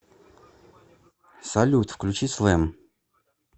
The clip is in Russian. салют включи слэм